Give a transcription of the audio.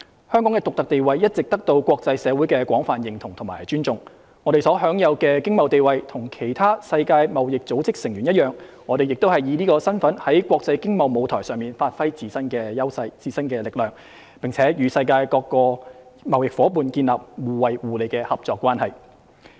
香港的獨特地位一直得到國際社會的廣泛認同和尊重，我們所享有的經貿地位跟其他世界貿易組織成員一樣，我們亦以此身份在國際經貿舞台上發揮自身優勢、力量，並與世界各個貿易夥伴建立了互惠互利的合作關係。